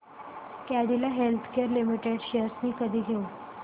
Cadila healthcare limited shares मी कधी घेऊ